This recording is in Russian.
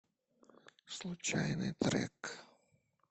случайный трек